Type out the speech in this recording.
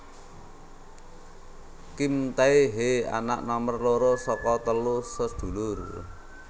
Kim Tae hee anak nomor loro saka telu sedulur